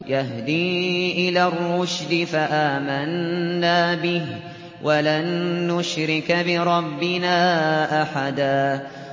يَهْدِي إِلَى الرُّشْدِ فَآمَنَّا بِهِ ۖ وَلَن نُّشْرِكَ بِرَبِّنَا أَحَدًا